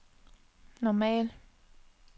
normal